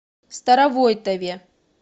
старовойтове